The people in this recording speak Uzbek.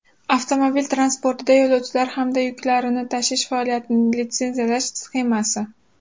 Avtomobil transportida yo‘lovchilar hamda yuklarni tashish faoliyatini litsenziyalash sxemasi.